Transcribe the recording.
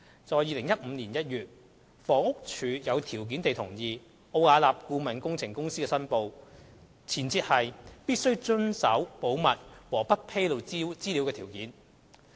在2015年1月，房屋署有條件地同意奧雅納的申報，前設是必須遵守保密和不披露資料的條件。